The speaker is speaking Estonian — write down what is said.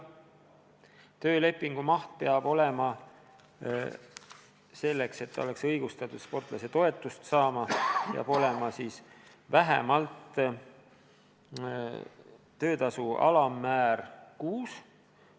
Töölepingu maht peab olema, selleks et sportlasel oleks õigus sportlasetoetust saada, vähemalt kuutöötasu alammäära ulatuses.